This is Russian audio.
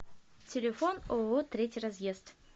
телефон ооо третий разъезд